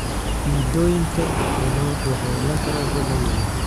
Midhooyinka rummaanku waxay yeelan karaan dhadhan macaan.